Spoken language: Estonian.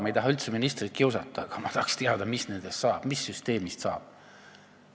Ma ei taha üldse ministrit kiusata, aga ma tahaks teada, mis süsteemist saab.